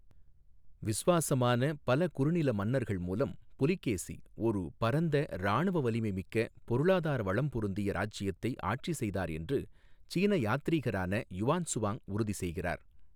விசுவாசமான பல குறுநில மன்னர்கள் மூலம் புலிகேசி ஒரு பரந்த, இராணுவ வலிமை மிக்க, பொருளாதார வளம் பொருந்திய இராச்சியத்தை ஆட்சி செய்தார் என்று சீன யாத்திரீகரான யுவான்சுவாங் உறுதி செய்கிறார்.